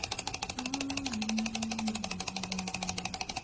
баю-бай